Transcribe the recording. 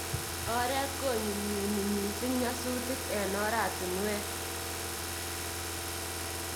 Oret konyumnyumi missing nyasutiik eng oratinweek.